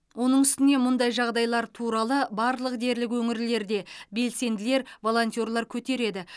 оның үстіне мұндай жағдайлар туралы барлық дерлік өңірлерде белсенділер волонтерлар көтереді